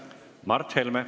Mart Helme.